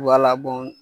Wala